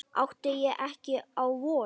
Átti ég ekki á von?